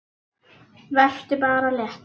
Vertu bara léttur!